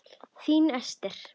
Þín Ester.